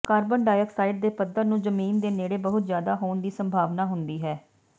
carbon dioxide ਦੇ ਪੱਧਰ ਨੂੰ ਜ਼ਮੀਨ ਦੇ ਨੇੜੇ ਬਹੁਤ ਜ਼ਿਆਦਾ ਹੋਣ ਦੀ ਸੰਭਾਵਨਾ ਹੁੰਦੀ ਹੈ